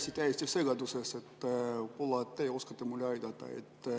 Olen täiesti segaduses, võib‑olla teie oskate mind aidata.